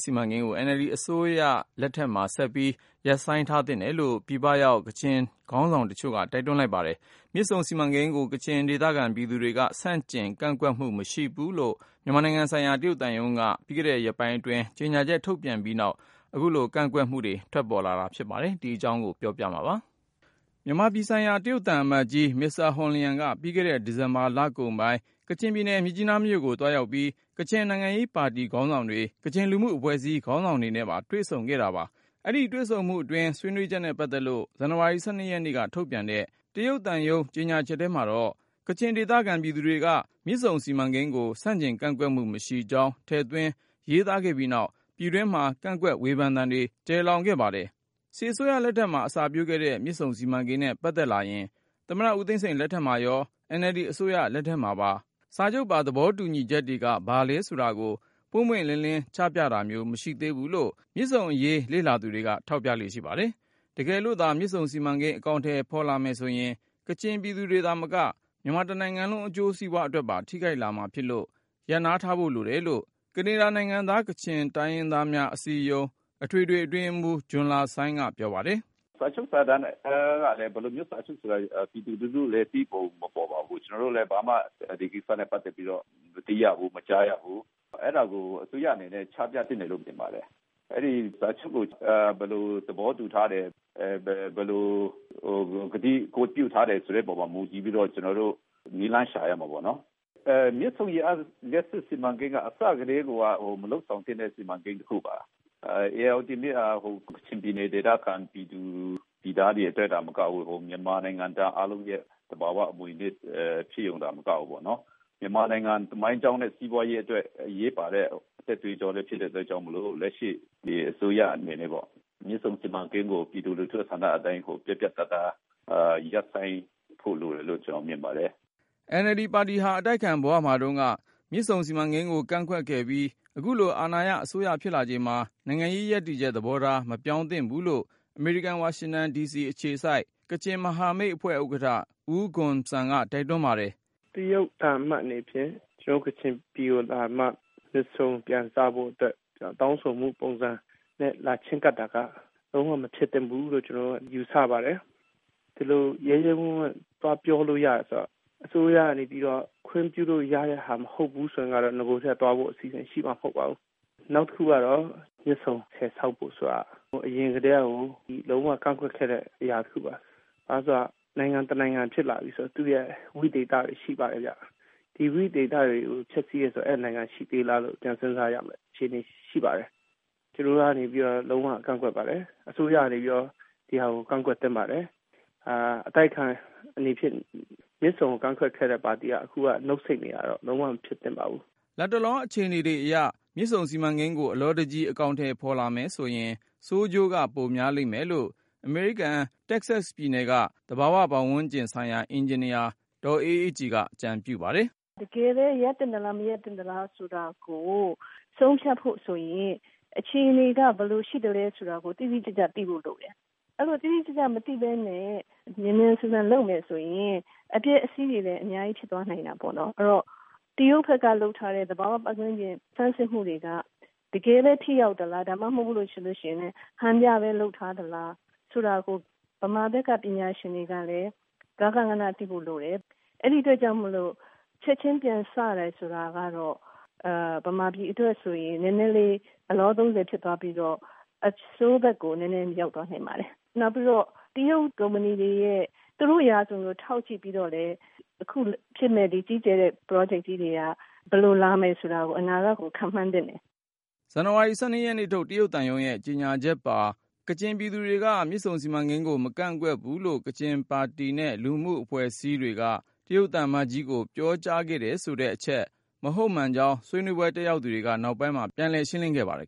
စီမံကိန်းကို NLD အစိုးရအနေနဲ့ ဆက်ပြီး ရပ်ဆိုင်းထားသင့်တယ်လို့ ပြည်ပရောက် ကချင်ခေါင်းဆောင်တချို့က တိုက်တွန်းလိုက်ပါတယ်။ မြစ်ဆုံစီမံကိန်းကို ကချင်ဒေသခံ ပြည်သူတွေက ဆန့်ကျင် ကန့်ကွက်မှုမရှိဘူးလို့ မြန်မာနိုင်ငံဆိုင်ရာ တရုတ်သံရုံးက ပြီးခဲ့တဲ့ရက်ပိုင်းအတွင်း ကြေညာချက်ထုတ်ပြန်ခဲ့ပြီးနောက် ပြည်တွင်း ကန့်ကွက်မှုတွေ ထွက်ပေါ်လာချိန်မှာ ပြည်ပရောက် ကချင်တိုင်းရင်းသားတွေကလည်း ကန့်ကွက်လိုက်ကြတာပါ။ ဒီအကြောင်း ကိုဉာဏ်ဝင်းအောင်က ဆက်ပြီးတင်ပြ ပါမယ်။ မြန်မာပြည်ဆိုင်ရာ တရုတ်သံအမတ်ကြီး Mr. Hong Liang က ပြီးခဲ့တဲ့ ဒီဇင်ဘာလကုန်ပိုင်း ကချင်ပြည်နယ် မြစ်ကြီးနားမြို့ကို သွားရောက်ပြီး ကချင် နိုင်ငံရေးပါတီ ခေါင်းဆောင်တွေ၊ ကချင်လူမှုအဖွဲ့အစည်း ခေါင်းဆောင်တွေနဲ့ပါ တွေ့ဆုံခဲ့တာပါ။ အဲဒီတွေ့ဆုံမှုအတွင်း ဆွေးနွေးချက်နဲ့ ပတ်သက်လို့ ဇန်နဝါရီလ ၁၂ နေ့ကထုတ်ပြန်တဲ့ တရုတ်သံရုံး ကြေညာချက်ထဲမှာတော့ ကချင်ဒေသခံ ပြည်သူတွေက မြစ်ဆုံစီမံကိန်းကို ဆန့်ကျင်ကန့်ကွက်မှု မရှိကြောင်း ထည့်သွင်းရေးသားခဲ့ပြီးနောက် ပြည်တွင်းမှာ ကန့်ကွက်ဝေဖန်သံတွေ ကျယ်လောင်ခဲ့ပါတယ်။ စစ်အစိုးရလက်ထက်မှာ အစပျိုးခဲ့တဲ့ မြစ်ဆုံစီမံကိန်းနဲ့ ပတ်သက်လာရင် သမ္မတဦးသိန်းစိန် လက်ထက်မှာရော NLD အစိုးရ လက်ထက်မှာပါ စာချုပ်ပါ သဘောတူညီချက်တွေက ဘာလဲဆိုတာကို ပွင့်ပွင့်လင်းလင်း ချပြတာမျိုး မရှိသေးဘူးလို့ မြစ်ဆုံအရေး လေ့လာသူတွေက ထောက်ပြလေ့ ရှိပါတယ်။ တကယ်လို့သာ မြစ်ဆုံစီမံကိန်း အကောင်ထည်ဖေါ်လာမယ်ဆိုရင် ကချင်ပြည်သူတွေသာမက မြန်မာတနိုင်ငံလုံး အကျိုးစီးပွားအတွက်ပါ ထိခိုက်လာမှာ ဖြစ်လို့ ရပ်နားထားဖို့လိုတယ်လို့ ကနေဒါနိုင်ငံသား ကချင်တိုင်းရင်း သားများအစည်းအရုံး အထွေထွေအတွင်းရေးမှုး ဂျွန်လာဆိုင်းက ပြောပါတယ်။ “ စာချုပ်စာတမ်းကလည်း ဘယ်လိုမျိုး စာချုပ်ဆိုတာလည်း ပြည်သူလူထုလည်း သိပုံ မပေါ်ပါဘူး။ ကျနော်တို့လည်း ဘာမှ ဒီကိစ္စနဲ့ ပတ်သက်ပြီးတော့ မသိရဘူး၊ မကြားရဘူး။ အဲဒါကို အစိုးရ အနေနဲ့ ချပြသင့်တယ်လို့ ထင်ပါတယ်။ အဲဒီ စာချုပ်ကို ဘယ်လို သဘောတူထားတယ်၊ ဘယ်လို ကတိကဝတ်ပြုထားတယ်ဆိုတဲ့ အပေါ် မူတည်ပြီး ကျနော်တို့ နည်းလမ်း ရှာရမှာပေါ့နော်။ မြစ်ဆုံ ရေအားလ ျှပ်စစ် စီမံကိန်းက အစကတည်းက မလုပ်ဆောင်သင့်တဲ့ စီမံကိန်း တခုပါ။ ဧရာဝတီမြစ်ဟာ ကချင်ပြည်နယ် ဒေသခံ ပြည်သူ ပြည်သားတွေ အတွက်သာ မကဘူး မြန်မာနိုင်ငံသား အားလုံးရဲ့ သဘာ၀ အမွေဖြစ်ရုံသာ မကဘူးပေါ့နော် မြန်မာနိုင်ငံ သမိုင်းကြောင်းနဲ့ စီးပွားရေး အတွက် အရေးပါတဲ့ အသက်သွေးကြောလည်း ဖြစ်တဲ့ အတွက်မို့ လက်ရှိ အစိုးရ အနေနဲ့ မြစ်ဆုံ စီမံကိန်းကို ပြည်သူ့ ဆန္ဒအတိုင်း ပြတ်ပြတ်သားသား ရပ်ဆိုင်းဖို့ လိုတယ်လို့ ကျနော် မြင်ပါတယ်။ ” NLD ပါတီဟာ အတိုက်အခံဘဝမှာတုန်းက မြစ်ဆုံစီမံကိန်းကို ကန့်ကွက်ခဲ့ပြီး၊ အခုလို အာဏာရအစိုးရ ဖြစ်လာချိန်မှာ နိုင်ငံရေးရပ်တည်ချက်သဘောထား မပြောင်းသင့်ဘူးလို့ အမေရိကန် ဝါရှင်တန်ဒီစီ အခြေစိုက် ကချင်မဟာမိတ်အဖွဲ့ ဥက္ကဌ ဦးဂွန်ဆမ်က တိုက်တွန်းပါတယ်။ “ တရုတ်သံအမတ် အနေဖြင့် ကျနော်တို့ ကချင်ပြည်ကို လာပြီးမှ မြစ်ဆုံ ပြန်စဖို့ အတွက် တောင်းဆိုမှု ပုံစံနဲ့ လာချဉ်းကပ်တာက လုံး၀ မဖြစ်သင့်ဘူးလို့ ကျနော်တို့က ယူဆပါတယ်။ ဒီလို ရဲရဲဝံ့ဝံ့ သွားပြောလို့ ရတယ်ဆိုတော့ အစိုးရကနေ ပြီးတော့ ခွင့်ပြုလို့ ရတဲ့ဟာ မဟုတ်ဘူးဆိုရင်ကတော့ နဂို ကတည်းက သွားဖို့ အစီအစဉ် ရှိမှာ မဟုတ်ပါဘူး။ နောက်တခုကတော့ မြစ်ဆုံဆည် ဆောက်ဖို့ ဆိုတာက အရင်ကတည်းက လုံး၀ ကန့်ကွက်ခဲ့တဲ့ အရာ တခုပါ။ ဘာလို့ဆို နိုင်ငံ တနိုင်ငံ ဖြစ်လာပြီဆို သူ့ရဲ့ ဝိသေသတွေ ရှိပါတယ် ခင်ဗျ။ ဒီ ဝိသေသတွေကို ဖျက်စီးတယ်ဆို အဲဒီ နိုင်ငံ ရှိသေးလားလို့ ပြန်စဉ်းစားရမယ့် အခြေအနေ ရှိပါတယ်။ ကျနော်တို့ကနေ လုံး၀ ကန့်ကွက်ပါတယ်။ အစိုးရကနေ ပြီးတော့ ဒီဟာကို ကန့်ကွက်သင့်ပါတယ်။ အတိုက်အခံ အနေဖြင့် မြစ်ဆုံကို ကန့်ကွက်ခဲ့တဲ့ ပါတီအနေနဲ့ အခုလို နုတ်ဆိတ်နေတာတော့ မဖြစ်သင့်ပါဘူး။ ” လတ်တလော အခြေအနေတွေအရ မြစ်ဆုံစီမံကိန်းကို အလောတကြီး အကောင်ထည်ဖေါ်လာမယ်ဆိုရင် ဆိုးကျိုးက ပိုများလိမ့်မယ်လို့ အမေရိကန် တက္ကဆက်ပြည်နယ်က သဘာဝ ပတ်ဝန်းကျင်ဆိုင်ရာ အင်ဂျင်နီယာ ဒေါ်အေးအေးကြည်က အကြံပြုပါတယ်။ “ တကယ်ဘဲ ရပ်သင့်သလား မရပ်သင့်ဘူးလား ဆိုတာကို ဆုံးဖြတ်ဖို့ ဆိုရင် အခြေအနေတွေက ဘယ်လို ရှိသလဲ ဆိုတာကို တိတိကျကျ သိဖို့ လိုတယ်။ အဲလို တိတိကျကျ မသိဘဲနဲ့ မြန်မြန်ဆန်ဆန် လုပ်မယ်ဆိုရင် အပျက်အစီးတွေလည်း အများကြီး ဖြစ်သွားနိုင်တာပေါ့နော်။ အဲတော့ တရုတ်ဘက်က လုပ်ထားတဲ့ သဘာ၀ ပတ်ဝန်းကျင် ဆန်းစစ်မှုတွေက တကယ်ဘဲ ထိရောက်သလား ဒါမှမဟုတ် ဆိုလို့ ရှိရင် ဟန်ပြဘဲ လုပ်ထားသလား ဆိုတာကို ဗမာဘက်က ပညာရှင်တွေကလည်း ဂဃနဏ သိဖို့ လိုတယ်။ အဲဒါကြောင့်မို့လို့ ချက်ချင်း ပြန်စတယ် ဆိုတာကတော့ ဗမာပြည် အတွက်ဆိုရင် နည်းနည်းလေး အလောသုံးဆယ် ဖြစ်သွားပြီးတော့ အဆိုးဘက်ကို နည်းနည်း ရောက်သွားနိုင်ပါတယ်။ နောက်ပြီးတော့ တရုတ်ကုမ္ဗဏီတွေရဲ့ သူတို့ ရာဇဝင်ကို ထောက်ကြည့်ပြီးတော့လည်း အခု ဖြစ်မယ့် ကြီးကျယ်တဲ့ ပရောဂျက်ကြီးတွေက ဘယ်လိုလာမယ်ဆိုတာကို အနာဂတ်ကို ခန့်မှန်းသင့်တယ်။” ဇန်နဝါရီ ၁၂ နေ့ထုတ် တရုတ်သံရုံးရဲ့ ကြေညာချက်ပါ- ကချင်ပြည်သူတွေက မြစ်ဆုံစီမံကိန်းကို မကန့်ကွက်ဘူးလို့ ကချင်ပါတီနဲ့ လူမှုအဖွဲ့အစည်းတွေက တရုတ်သံအမတ်ကြီးကို ပြောကြားခဲ့တယ်ဆိုတဲ့အချက် မဟုတ်မှန်ကြောင်း ဆွေးနွေးပွဲ တက်ရောက်သူတွေက နောက်ပိုင်းမှာ ပြန်ရှင်းခဲ့ပါတယ်